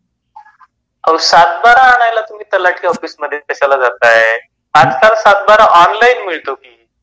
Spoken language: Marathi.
ओ सातबारा आणायला तुम्ही तलाठी ऑफिसमध्ये कशाला जाताय, आजकाल सातबारा ऑनलइन मिळतो की.